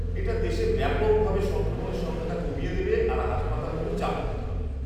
এটা দেশে ব্যাপকভাবে সংক্রমণের সংখ্যাটা কমিয়ে দেবে আর হাসপাতালগুলো চাপমুক্ত হবে।